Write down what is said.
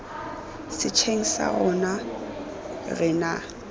setsheng sa rona re na